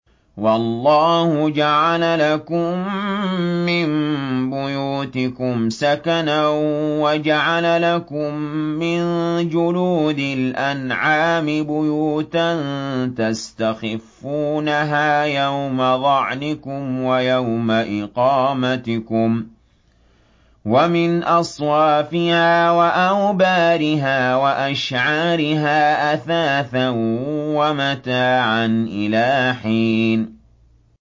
وَاللَّهُ جَعَلَ لَكُم مِّن بُيُوتِكُمْ سَكَنًا وَجَعَلَ لَكُم مِّن جُلُودِ الْأَنْعَامِ بُيُوتًا تَسْتَخِفُّونَهَا يَوْمَ ظَعْنِكُمْ وَيَوْمَ إِقَامَتِكُمْ ۙ وَمِنْ أَصْوَافِهَا وَأَوْبَارِهَا وَأَشْعَارِهَا أَثَاثًا وَمَتَاعًا إِلَىٰ حِينٍ